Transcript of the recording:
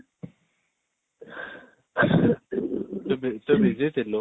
ତୁ busy ଥିଲୁ ?